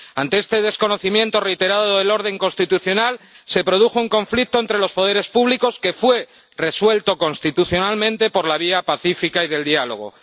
Ante este desconocimiento reiterado del orden constitucional, se produjo un conflicto entre los poderes públicos que fue resuelto constitucionalmente por la vía pacífica y del diálogo.